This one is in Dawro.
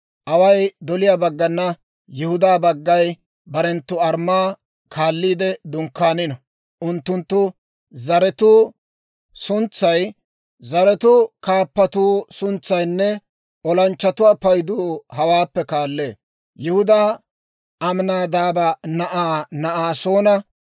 «Away doliyaa baggana Yihudaa baggay barenttu armmaa kaalliide dunkkaanino. Unttunttu zaratuwaa suntsay, zaratuwaa kaappatuwaa suntsaynne olanchchatuwaa paydu hawaappe kaallee: Yihudaa Aminaadaaba na'aa Na'asoona 74,600;